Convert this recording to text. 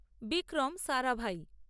Vikram Sarabhai